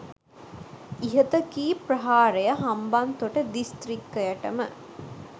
ඉහත කී ප්‍රහාරය හම්බන්තොට දිස්ත්‍රික්කයට ම